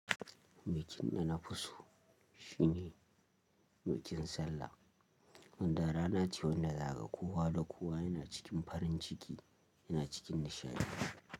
Bikkn da nafi so shine bikin sallah. Wanda ranace wa wanda za ga kowa da kowa yana cikin farin ciki, yana cikin nishaɗi.